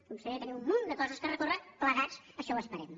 conseller tenim un munt de coses per recórrer plegats així ho esperem